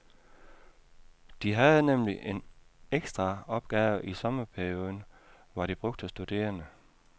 De havde nemlig en ekstraopgave i sommerperioden, hvor de brugte studerende.